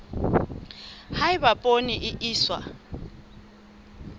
ha eba poone e iswa